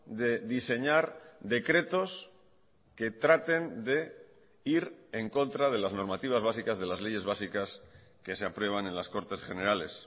de diseñar decretos que traten de ir en contra de las normativas básicas de las leyes básicas que se aprueban en las cortes generales